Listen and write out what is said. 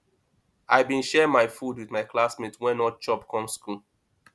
i bin share my food wit my classmate wey no chop come skool